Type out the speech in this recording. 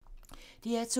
DR2